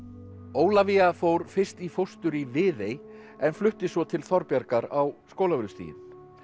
Ólafía fór fyrst í fóstur í Viðey en flutti svo til Þorbjargar á Skólavörðustíginn